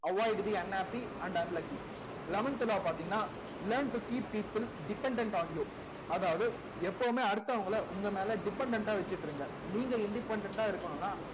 avoid the unhappy and unlucky eleventh law எல்லாம் பார்த்தீங்கன்னா learn to keep people dependent on you அதாவது எப்பவுமே அடுத்தவங்களை உங்க மேல dependent ஆ வச்சிட்டு இருங்க independent ஆ இருக்கணும்னா